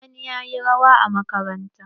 Sani ya yi rawa a makaranta.